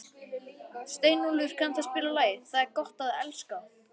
Steinólfur, kanntu að spila lagið „Það er gott að elska“?